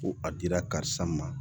Ko a dira karisa ma